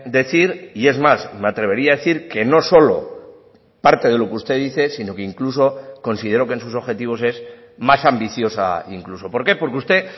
decir y es más me atrevería a decir que no solo parte de lo que usted dice sino que incluso considero que en sus objetivos es más ambiciosa incluso por qué porque usted